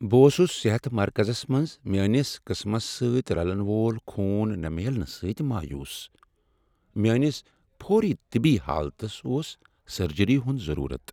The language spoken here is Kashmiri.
بہٕ اوسُس صحت مرکزس منٛز میٲنِس قٕسمَس سۭتۍ رلن وول خون نہٕ میلنہٕ سٕتۍ مایوس ۔ میٲنِس فوری طبی حالتس اوس سرجری ہُند ضرورت۔